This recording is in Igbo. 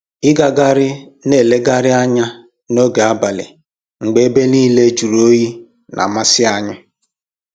Ịgagharị na elegharị anya n'oge abalị mgbe ebe niile jụrụ oyi na-amasị anyị